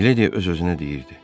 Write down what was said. Miledia öz-özünə deyirdi: